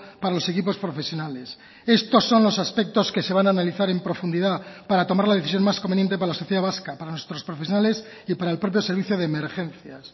para los equipos profesionales estos son los aspectos que se van a analizar en profundidad para tomar la decisión más conveniente para la sociedad vasca para nuestros profesionales y para el propio servicio de emergencias